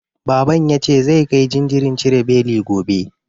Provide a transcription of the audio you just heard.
Baban ya ce zai kai jinjirin cire beli gobe.